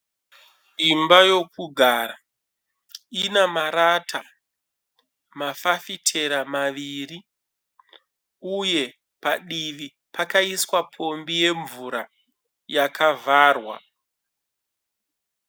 Imba yokugara. Ina marata mafafitera maviri uye padivi pakaiswa pombi yemvura yakavharwa.